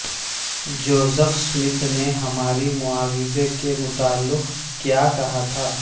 Joseph Smith نے ہماری معاوضہ کے متعلق کیا کہا ہے